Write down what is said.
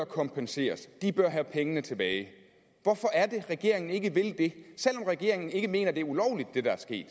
kompenseret de bør have pengene tilbage hvorfor er det at regeringen ikke vil det selv om regeringen ikke mener at det der er sket